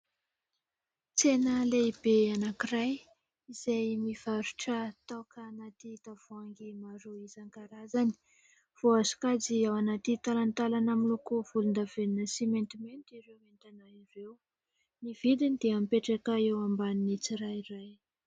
Tsena lehibe anankiray izay mivarotra toaka anaty tavoahangy maro isan-arazany. Voasokajy ao anaty talantalana miloko volondavenona sy maintimainty ireo entana ireo. Ny vidiny dia mipetraka eo ambanin'ny tsirairay.